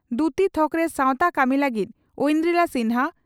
ᱫᱭᱩᱛᱤ ᱛᱷᱚᱠᱨᱮ ᱥᱟᱣᱛᱟ ᱠᱟᱹᱢᱤ ᱞᱟᱹᱜᱤᱫ ᱳᱱᱰᱰᱨᱤᱞᱟ ᱥᱤᱱᱦᱟ